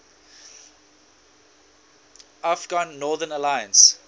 afghan northern alliance